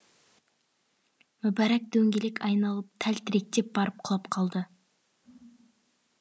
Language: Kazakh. мүбәрәк дөңгелек айналып тәлтіректеп барып құлап қалды